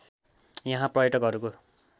यहाँ पर्यटकहरूको